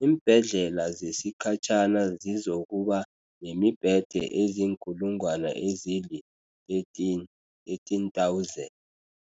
iimbhedlela zesikhatjhana zizoku-ba nemibhede eziinkulungwana ezili-13, 13 000.